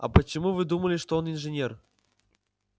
а почему вы думали что он инженер